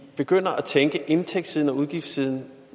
begynder at tænke indtægtssiden og udgiftssiden